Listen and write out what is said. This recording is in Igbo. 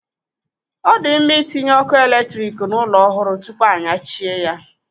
Ọ di mma itinye ọkụ eletrik n'ụlọ ọhụrụ tupu anyachie ya.